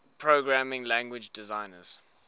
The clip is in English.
programming language designers